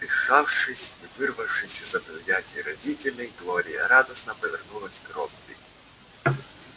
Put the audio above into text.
отдышавшись и вырвавшись из объятий родителей глория радостно повернулась к робби